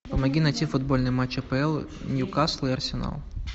помоги найти футбольный матч апл ньюкасл и арсенал